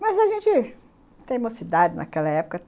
Mas a gente tem mocidade naquela época.